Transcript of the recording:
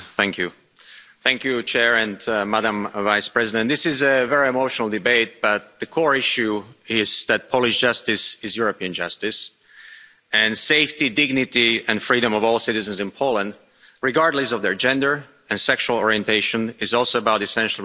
Mr President, this is a very emotional debate but the core issue is that Polish justice is European justice, and the safety, dignity and freedom of all citizens in Poland regardless of their gender and sexual orientation is also about essential respect for the rights of all Europeans.